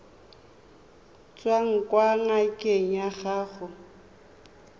tswang kwa ngakeng ya gago